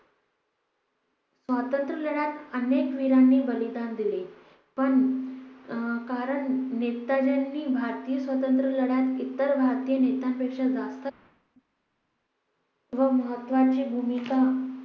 स्वातंत्र्य लढ्यात अनेक वीरांनी बलिदान दिले पण अं कारण नेतांजींनी भारतीय स्वातंत्र्य लढ्यातत्यांचे इतर भारतीय नेत्यांपेक्षा जास्त व महत्त्वाची भूमिका